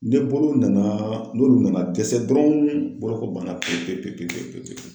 Ni bolo nana n'olu nana dɛsɛ dɔrɔn boloko banna pewu pewu pewu pewu pewu.